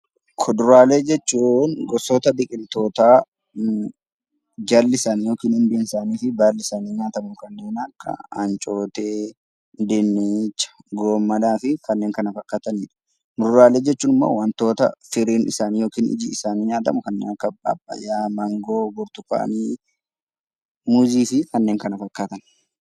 Kuduraalee jechuun gosoota biqiltoota jalli isaanii yookiin hundeen isaanii nyaataman kan akka ancootee, dinnicha, raafuu fi kanneen kana fakkaatan yoo ta'u, muduraalee jechuun immoo waantota firiin isaanii yookaan ijji isaanii nyaataman kan akka pappaayyaa, maangoo, burtukaana , muuzii fi kanneen kana fakkaatan.